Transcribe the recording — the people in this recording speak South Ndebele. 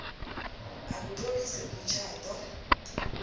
a kutloliswe umtjhado